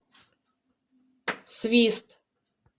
свист